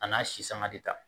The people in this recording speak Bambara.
A n'a si sanga ti taa